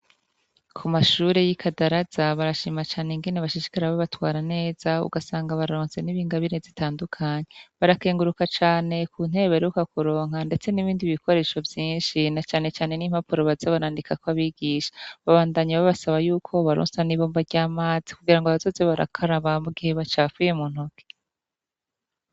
Ku mashure y'iKadaraza, barashima cane ingeni bashishikara be batwara neza ugasanga baronse n'ib'ingabire zitandukanye ,barakenguruka cane ku ntebe baheruka kuronka ndetse n'ibindi bikoresho vyinshi na cane cane n'impapuro baza barandikak’ abigisha , babandanya babasaba yuko bobaronsa n’ ibomba ry'amazi kugira ngo bazoze barakaraba mu gihe bacafuye mu ntoke.